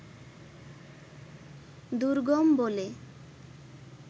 দুর্গম বলে